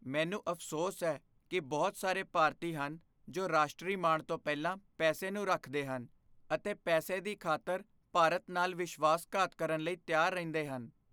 ਮੈਨੂੰ ਅਫ਼ਸੋਸ ਹੈ ਕਿ ਬਹੁਤ ਸਾਰੇ ਭਾਰਤੀ ਹਨ ਜੋ ਰਾਸ਼ਟਰੀ ਮਾਣ ਤੋਂ ਪਹਿਲਾਂ ਪੈਸੇ ਨੂੰ ਰੱਖਦੇ ਹਨ ਅਤੇ ਪੈਸੇ ਦੀ ਖ਼ਾਤਰ ਭਾਰਤ ਨਾਲ ਵਿਸ਼ਵਾਸਘਾਤ ਕਰਨ ਲਈ ਤਿਆਰ ਰਹਿੰਦੇ ਹਨ।